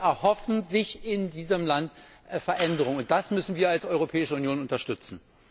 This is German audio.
Die Leute erhoffen sich in diesem Land Veränderungen. Das müssen wir als Europäische Union unterstützen.